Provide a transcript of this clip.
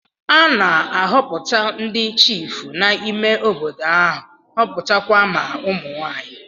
A na-ahọpụta ndị chiịfụ n'ime obodo ahụ, họpụta kwa ma ụmụ nwaanyị.